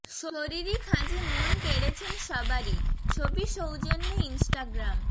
শরীরী খাঁজে মন কেড়েছেন সবারই ছবি সৌজন্যে ইনস্টাগ্রাম